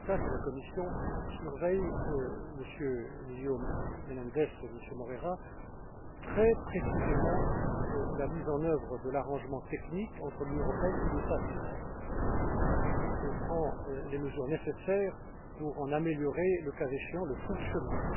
Šemeta, que la Commission surveille, Messieurs Menéndez et Moreira, très précisément la mise en œuvre de l'arrangement technique entre l'Union européenne et l'État d'Israël, et prend les mesures nécessaires pour en améliorer, le cas échéant, le fonctionnement.